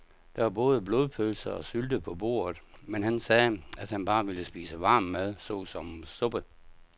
Der var både blodpølse og sylte på bordet, men han sagde, at han bare ville spise varm mad såsom suppe.